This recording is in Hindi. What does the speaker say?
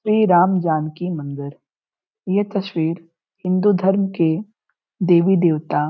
श्री राम जानकी मंदिर यह तस्वीर हिंदू धर्म के देवी देवता --